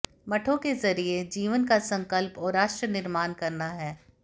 मठों के जरिए जीवन का संकल्प और राष्ट्र निर्माण करना है